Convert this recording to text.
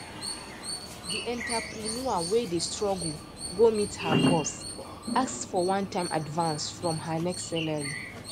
the entrepreneur wey dey struggle go meet her boss ask for onetime advance from her next salary